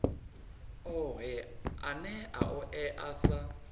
ohe ane a oea sa